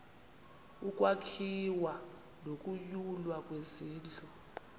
ukwakhiwa nokunyulwa kwezindlu